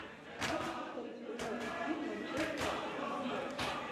можешь повторить прямой эфир манчестера и канониров